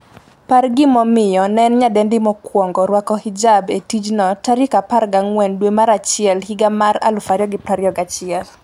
par gima nomiyo ne en nyadendi mokwongo rwako hijab e tijno14 dwe mar achiel higa mar 2021